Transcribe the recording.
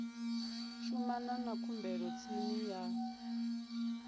shumana na khumbelo tshi ya